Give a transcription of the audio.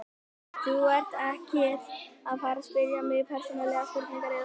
Þú ert ekkert að fara spyrja mig persónulegra spurninga er það?